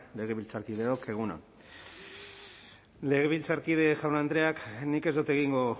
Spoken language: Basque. legebiltzarkideok egun on legebiltzarkide jaun andreak nik ez dut egingo